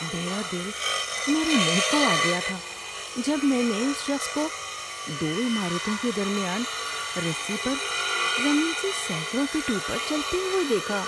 میرا دل میرے منہ کو آ گیا تھا جب میں نے اس شخص کو دو عمارتوں کے درمیان رسی پر زمین سے سینکڑوں فٹ اوپر چلتے ہوئے دیکھا۔